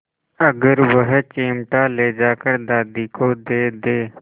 अगर वह चिमटा ले जाकर दादी को दे दे